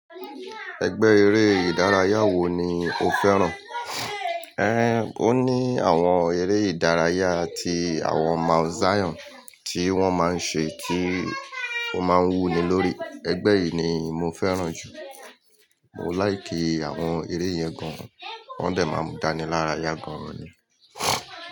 Ẹgbẹ́ eré ìdárayá wo ni o fẹ́ràn? Ẹn, ó ní àwọn eré ìdárayá ti àwọn Mount Zion tí wọ́n máa ń ṣe tí ó máa n wú ni lórí. Ẹgbẹ́ yìí ni mo fẹ́ràn jù. Mò laikí àwọn eré yẹn gan. Wọ́n dẹ̀ máa n mú dání lára yá gan ni.